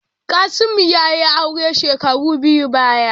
Kasimu ya yi aure shekaru biyun baya.